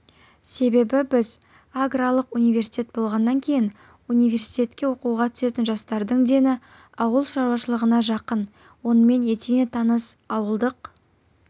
себебі біз аграрлық университет болғаннан кейін университетке оқуға түсетін жастардың дені ауыл шаруашылығына жақын онымен етене таныс ауылдық